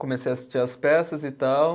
Comecei a assistir às peças e tal.